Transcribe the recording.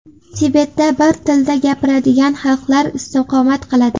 Tibetda bir tilda gapiradigan xalqlar istiqomat qiladi.